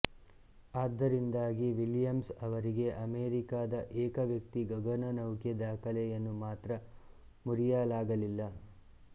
ಆದ್ದರಿಂದಾಗಿ ವಿಲಿಯಮ್ಸ್ ಅವರಿಗೆ ಅಮೇರಿಕಾದ ಏಕವ್ಯಕ್ತಿ ಗಗನನೌಕೆ ದಾಖಲೆಯನ್ನು ಮಾತ್ರ ಮುರಿಯಲಾಗಲಿಲ್ಲ